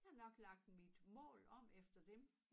Jeg har nok lagt mit mål om efter dem